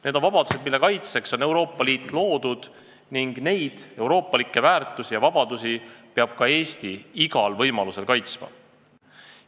Need on vabadused, mille kaitseks on Euroopa Liit loodud, ning neid euroopalikke väärtusi ja vabadusi peab ka Eesti igal võimalusel kaitsma.